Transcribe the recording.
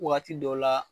Waati dɔw la